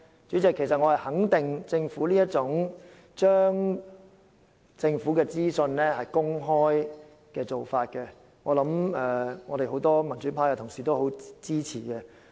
主席，我肯定政府將資料公開的做法，會獲得很多民主派同事支持。